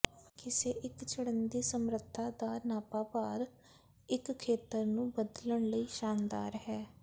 ਕਿਸੇ ਇੱਕ ਚੜ੍ਹਨ ਦੀ ਸਮਰੱਥਾ ਦਾ ਨਾਪਾਭਾਰ ਇੱਕ ਖੇਤਰ ਨੂੰ ਬਦਲਣ ਲਈ ਸ਼ਾਨਦਾਰ ਹੈ